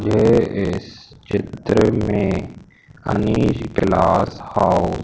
ये इस चित्र में हनी क्लास हाउस --